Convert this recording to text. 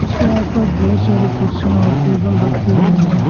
इसके आस पास बहोत सारे कुर्सियां और टेबल रखे हुए हैं।